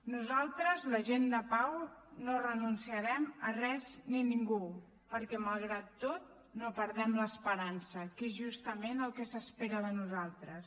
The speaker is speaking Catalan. nosaltres la gent de pau no renunciarem a res ni ningú perquè malgrat tot no perdem l’esperança que és justament el que s’espera de nosaltres